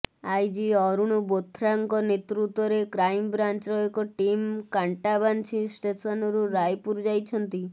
IG Arun ବୋଥ୍ରାଙ୍କ ନେତୃତ୍ବରେ କ୍ରାଇମବ୍ରାଞ୍ଚର ଏକ ଟିମ୍ କାଣ୍ଟାବାଞ୍ଝି ଷ୍ଟେସନରୁ ରାୟପୁର ଯାଇଛନ୍ତି